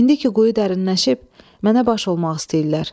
İndi ki quyu dərinləşib, mənə baş olmaq istəyirlər.